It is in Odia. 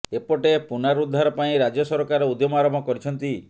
ଏପଟେ ପୁନରୁଦ୍ଧାର ପାଇଁ ରାଜ୍ୟ ସରକାର ଉଦ୍ୟମ ଆରମ୍ଭ କରିଛନ୍ତି